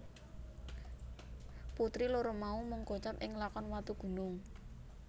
Putri loro mau mung kocap ing lakon Watugunung